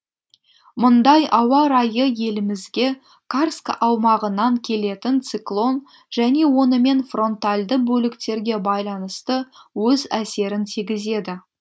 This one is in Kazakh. мұндай ауа райы елімізге карск аумағынан келетін циклон және онымен фронтальды бөліктерге байланысты өз әсерін тигізеді